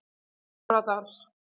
Stóradal